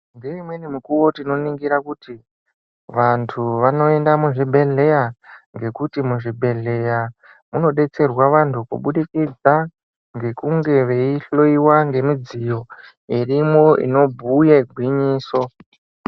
Ngeimweni mikuwo tinoningira kuti vantu vanoenda muzvibhedhleya ngekuti muzvibhedhleya munobetserwa vantu kubudikidza ngekunge veihloyiwa ngemidziyo irimo inobhuye gwinyiso.